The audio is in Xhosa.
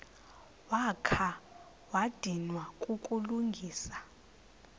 wakha wadinwa kukulungisa